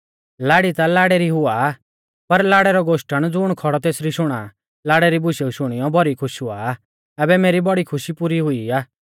लाड़ी ता लाड़ै री हुआ आ पर लाड़ै रौ गोष्टण ज़ुण खौड़ौ तेसरी शुणा लाड़ै री बुशेऊ शुणियौ भौरी खुश हुआ ऐबै मेरी बौड़ी खुशी पुरी हुई आ